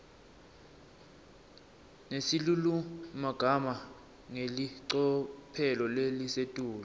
nesilulumagama ngelicophelo lelisetulu